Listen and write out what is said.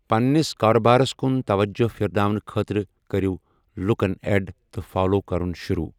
پنٛنِس کارٕبارس کُن توجہ پھِرناونہٕ خٲطرٕ کٔرِو لُکن 'اٮ۪ڈ' تہٕ 'فالو' کَرُن شُروٗع۔